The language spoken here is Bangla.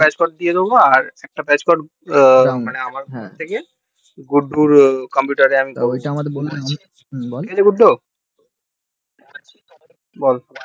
গুড্ডুর computer এ দিয়ে দেব তাই না গুড্ডু বল